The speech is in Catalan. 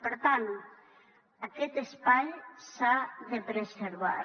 per tant aquest espai s’ha de preservar